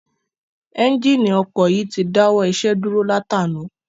Ẹ́njíìnì ọkọ̀ yìí ti dáwọ́ iṣẹ́ dúró látànàá.